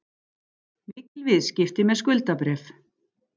Mikil viðskipti með skuldabréf